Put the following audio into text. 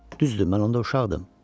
Düzdür, mən onda uşaqdım.